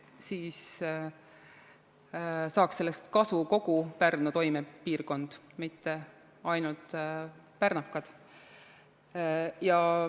Siis saaks sellest kasu kogu Pärnu toimepiirkond, mitte ainult pärnakad.